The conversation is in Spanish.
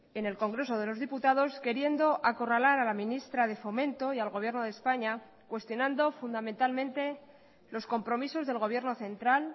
en el congreso de los diputados queriendo acorralar a la ministra de fomento y al gobierno de españa cuestionando fundamentalmente los compromisos del gobierno central